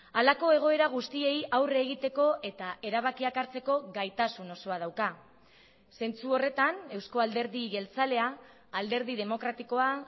halako egoera guztiei aurre egiteko eta erabakiak hartzeko gaitasun osoa dauka zentzu horretan eusko alderdi jeltzalea alderdi demokratikoa